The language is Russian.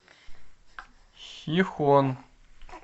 хихон